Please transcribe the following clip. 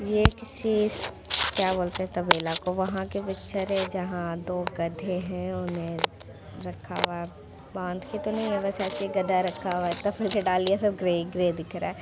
ये किसी क्या बोलते है तबेला को वहाँ की पिक्चर है जहाँ दो गधे है उन्हें रखा हुआ है बांध के तो नहीं है बस ऐसे ही गधा रखा हुआ है दाल लिए है सब ग्रे ग्रे दिख रहा है।